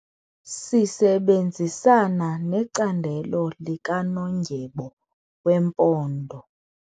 Sisebenzisana necandelo likanondyebo wephondo.